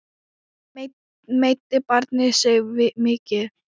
Meiddi barnið sig mikið?